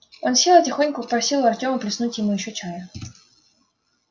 он сел и тихонько попросил у артёма плеснуть ему ещё чая